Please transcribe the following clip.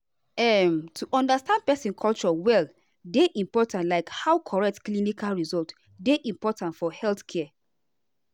um to understand person culture well dey important like how correct clinical result dey important for healthcare.